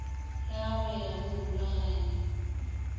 la go ya go morulaganyi